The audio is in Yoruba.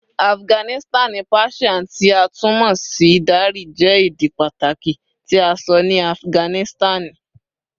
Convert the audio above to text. Afiganisitani Persian, ti a tun mọ si Dari, jẹ ede pataki ti a sọ ni Afiganisitani